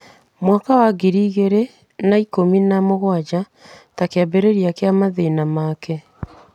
mwaka wa ngiri igĩrĩ na ikũmi na mũgwanja ta kĩambĩrĩria kĩa mathĩna make.